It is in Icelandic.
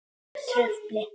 Slíkt trufli.